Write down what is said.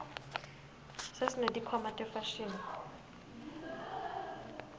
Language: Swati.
sesineti khwama tefashini